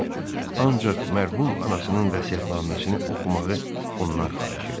O ancaq mərhum anasının vəsiyyətnaməsini oxumağı ondan xahiş elədi.